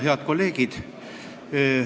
Head kolleegid!